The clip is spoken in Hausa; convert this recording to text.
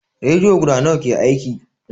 Rediyo guda nawa ke aiki?